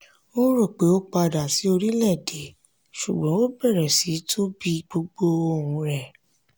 ó rò pé ó padà sí orílẹ̀-èdè ṣùgbọ́n ó bẹ̀rẹ̀ sí tún bí gbogbo ohun rẹ̀.